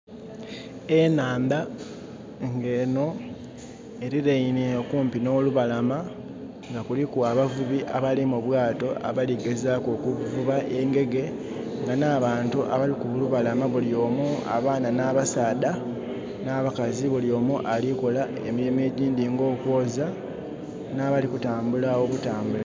Enaandha nga eno eliraine okumpi n' lubalama nga kuliku abavubi abali mubwaato abali kugezaku okuvuba engege nga na bantu abali kulubalama bulyomu abaana na basaadha na bakazi bulyomu alikola emirimu egyindi nga okwooza na bali okutambula obutambule